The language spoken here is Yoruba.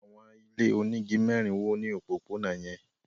Àwọn ilé onígi mẹ́rin wó ní òpópónà yẹn.